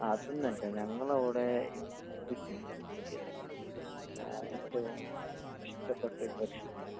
നാസ്ഥക്ക് ഇവിടെ പുട്ടും കടലയുമാണ് ഇവിടുത്ത സ്പെഷ്യല് ഫുഡ്